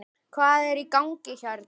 Hvað er í gangi hérna?